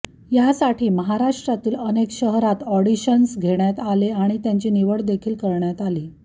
यासाठी महाराष्ट्रातील अनेक शहरात ऑडिशन्स घेण्यात आले आणि त्यांची निवड देखील करण्यात आली